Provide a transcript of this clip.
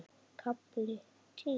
KAFLI TÍU